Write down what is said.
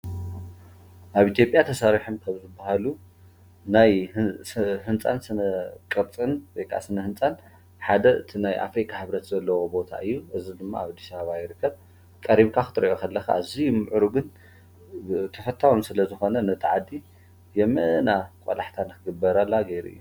ኣብ ኢትዮጵያ ተሠርሐም ከኣብዝበሃሉ ናይ ሕንፃን ስነ ቕርጽን ወይክዓ ስነ ሕንፃን ሓደ እቲ ናይ ኣፍሪካ ሕብረት ዘለዎ ቦታ እዩ እዝ ድማ ኣብ ኣዲስ ኣበባ ይርከብ ቀሪብካ ኽትርዮ ኣለኻ እዙይ ምዕሩ ግን ተፈታውን ስለ ዝኾነ ነታ ዓዲ የመና ቈላሕታ ንኽግበር ኣላ ጌይሩ እዩ።